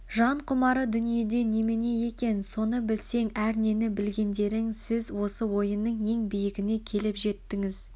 жан құмары дүниеде немене екен соны білсең әрнені білгендерің сіз осы ойынның ең биігіне келіп жеттіңіз